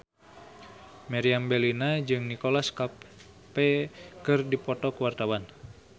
Meriam Bellina jeung Nicholas Cafe keur dipoto ku wartawan